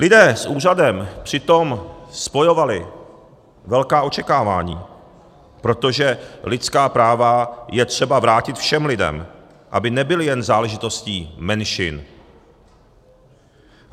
Lidé s úřadem přitom spojovali velká očekávání, protože lidská práva je třeba vrátit všem lidem, aby nebyla jen záležitostí menšin.